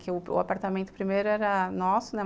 Que o apartamento primeiro era nosso, né?